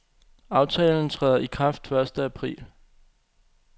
Aftalen træder i kraft første april.